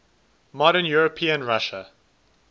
modern european russia